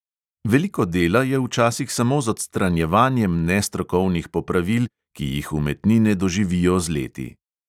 Veliko dela je včasih samo z odstranjevanjem nestrokovnih popravil, ki jih umetnine doživijo z leti.